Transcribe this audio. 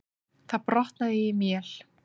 Það brotnaði í mél.